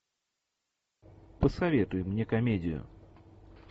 посоветуй мне комедию